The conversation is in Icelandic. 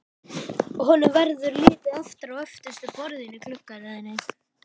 Honum verður litið aftur á öftustu borðin í gluggaröðinni.